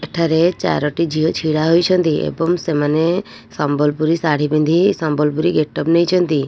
ଏଠାରେ ଚାରୋଟି ଝିଅ ଛିଡ଼ା ହୋଇଛନ୍ତି ଏବମ ସେମାନେ ସମ୍ବଲପୁରୀ ଶାଢ଼ୀ ପିନ୍ଧି ଇ ସମ୍ବଲପୁରୀ ଗେଟଅପ ନେଇଛନ୍ତି।